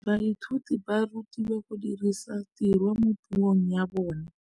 Baithuti ba rutilwe go dirisa tirwa mo puong ya bone.